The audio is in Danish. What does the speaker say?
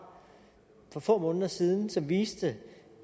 for få måneder siden og som viste